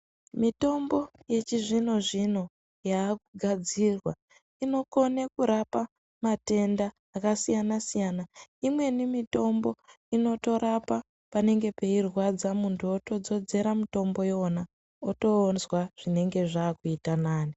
Mitombo yechizvino zvino yekugadzirwa inokone rapa matenda akasiyana siyana imweni mitombo inotorapa panenge pairwadza muntu otodzodzera mutombo iwona otonzwa zvinenge zvakuita nani.